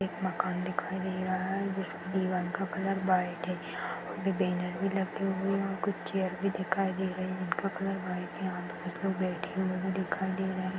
एक मकान दिखाई दे रहा है जिसकी दीवाल का कलर वाईट है और बैनर वी लगे हुए है कुछ चेयर भी दिखाई दे रहा है जिसका कलर वाईट है कुछ लोग बैठे हुए भी दिखाई दे रहे हैं। .